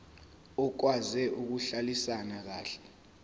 okwazi ukuhlalisana kahle